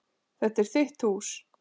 Þetta er þitt hús.